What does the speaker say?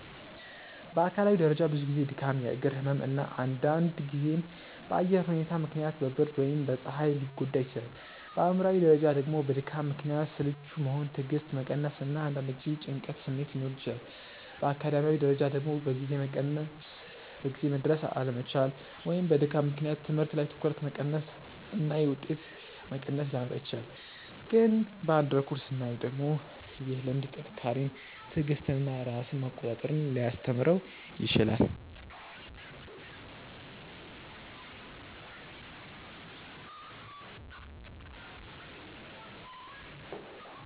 በአካላዊ ደረጃ ብዙ ጊዜ ድካም፣ የእግር ህመም እና አንዳንድ ጊዜም በአየር ሁኔታ ምክንያት በብርድ ወይም በፀሐይ ሊጎዳ ይችላል። በአእምሯዊ ደረጃ ደግሞ በድካም ምክንያት ስልቹ መሆን፣ ትዕግስት መቀነስ እና አንዳንድ ጊዜ የጭንቀት ስሜት ሊኖር ይችላል። በአካዳሚያዊ ደረጃ ደግሞ በጊዜ መድረስ አለመቻል ወይም በድካም ምክንያት ትምህርት ላይ ትኩረት መቀነስ እና የውጤት መቀነስ ሊያመጣ ይችላል። ግን በአንድ በኩል ስናየው ደግሞ ይህ ልምድ ጥንካሬን፣ ትዕግስትን እና ራስን መቆጣጠር ሊያስተምረው ይችላል